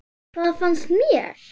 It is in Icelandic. Hvað fannst mér?